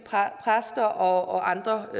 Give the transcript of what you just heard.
præster og andre